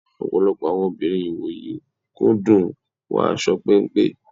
Ọ̀pọ̀lọpọ̀ àwọn obìnrin ìwòyí kú dùn wíwọ aṣọ péńpé.